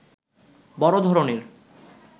বড় ধরণের